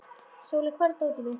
Sóli, hvar er dótið mitt?